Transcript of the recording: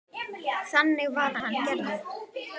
Þannig var hann gerður.